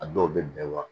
A dɔw bɛ bɛn wa